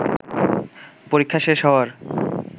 পরীক্ষা শেষ হওয়ার